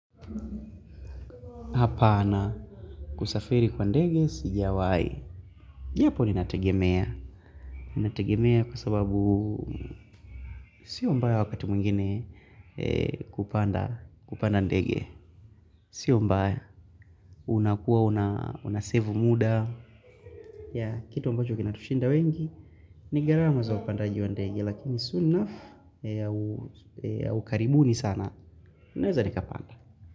Hapana kusafiri kwa ndege sijawai japo linatagemea linatagemea kwa sababu Sio mbaya wakati mwingine kupanda ndege Sio mbaya unakuwa unasevu muda ya kitu ambacho kinatushinda wengi ni gharama za upandaji wa ndege Lakini soon enough ya ukaribuni sana naweza nikapanda.